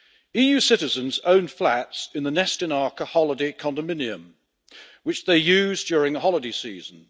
EU citizens own flats in the Nestinarka holiday condominium which they use during the holiday season.